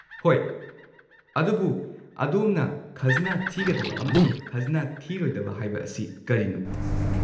ꯍꯣꯏ, ꯑꯗꯨꯕꯨ ꯑꯗꯣꯝꯅ 'ꯈꯖꯅꯥ ꯊꯤꯒꯗꯕ' ꯑꯃꯁꯨꯡ 'ꯈꯖꯅꯥ ꯊꯤꯔꯣꯏꯗꯕ' ꯍꯥꯏꯕ ꯑꯁꯤ ꯀꯔꯤꯅꯣ?